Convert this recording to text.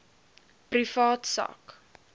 privaat sak